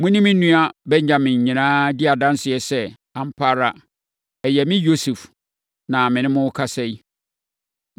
“Mo ne me nua Benyamin nyinaa di adanseɛ sɛ, ampa ara, ɛyɛ me Yosef na me ne morekasa yi.